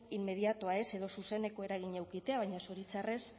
inmediatoa edo zuzeneko eragina edukitea baina zoritxarrez